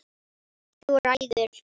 Þú ræður!